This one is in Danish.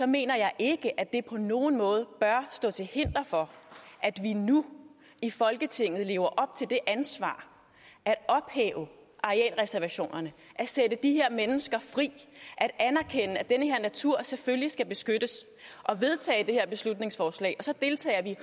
mener jeg ikke at det på nogen måde bør stå til hinder for at vi nu i folketinget lever op til det ansvar og ophæver arealreservationerne og sætter de her mennesker fri og natur selvfølgelig skal beskyttes og vedtager det her beslutningsforslag og så deltager vi